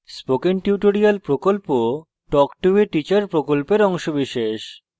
spoken tutorial প্রকল্প talk to a teacher প্রকল্পের অংশবিশেষ